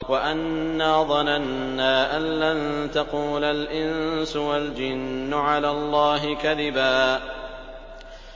وَأَنَّا ظَنَنَّا أَن لَّن تَقُولَ الْإِنسُ وَالْجِنُّ عَلَى اللَّهِ كَذِبًا